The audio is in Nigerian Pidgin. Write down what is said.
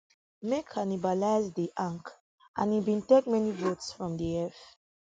mk cannibalised di anc and im bin take many votes from di eff